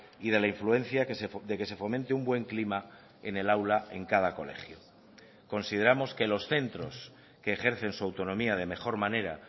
y de la influencia de que se fomente un buen clima en el aula en cada colegio consideramos que los centros que ejercen su autonomía de mejor manera